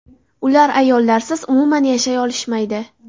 Ular ayollarsiz umuman yashay olishmaydi!